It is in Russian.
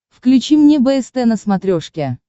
включи мне бст на смотрешке